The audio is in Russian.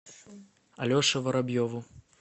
алеше воробьеву